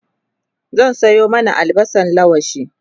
zan Sayo mana albasan laushi